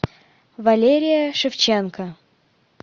валерия шевченко